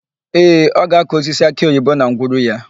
Ee, ọ ga-akụ osisi akịoyibo na ngwuru ya.